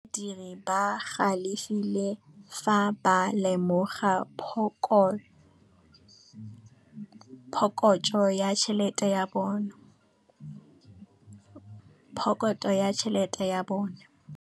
Badiri ba galefile fa ba lemoga phokotsô ya tšhelête ya bone.